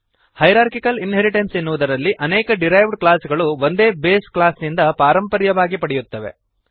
hierarchical inheritance ಎನ್ನುವುದರಲ್ಲಿ ಅನೇಕ derived class ಗಳು ಒಂದೇ ಬೇಸ್ ಕ್ಲಾಸ್ ನಿಂದ ಪಾರಂಪರ್ಯವಾಗಿ ಪಡೆಯುತ್ತವೆ